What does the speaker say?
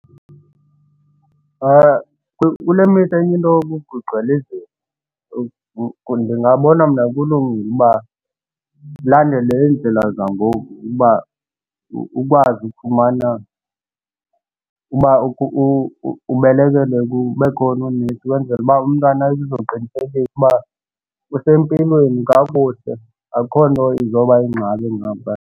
Kule mihla enye into yoba kugcwele izifo. Ndingabona mna kulungile uba ulandele indlela zangoku uba ukwazi ufumana uba ubelekele bekhona oonesi ukwenzele uba umntana azoqinisekisa uba usempilweni kakuhle akukho nto izoba yingxaki ngaphaya.